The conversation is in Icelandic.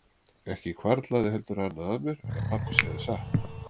Ekki hvarflaði heldur annað að mér en að pabbi segði satt.